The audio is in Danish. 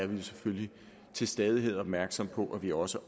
vi selvfølgelig til stadighed opmærksomme på at vi også